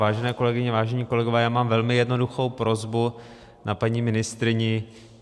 Vážené kolegyně, vážení kolegové, já mám velmi jednoduchou prosbu na paní ministryni.